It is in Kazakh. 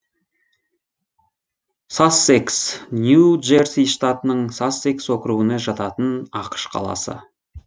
сассэкс нью джерси штатының сассекс округіне жататын ақш қаласы